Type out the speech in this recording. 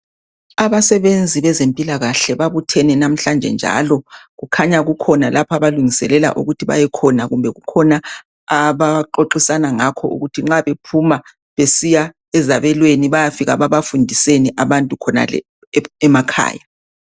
Abasebenzi bezempilakahle babuthene namhlanje njalo, kukhanya kukhona lapha abalungiselela ukuthi bayekhona, kumbe kukhona abayaxoxisana ngakho ukuthi nxa bephuma besiya ezabelweni bayafika babafundiseni abantu khonale emakhaya.